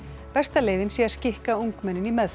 besta leiðin sé að skikka ungmennin í meðferð